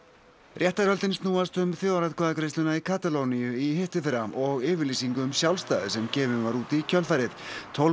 réttarhöldin snúast um þjóðaratkvæðagreiðsluna í Katalóníu í hitteðfyrra og yfirlýsingu um sjálfstæði sem gefin var út í kjölfarið tólf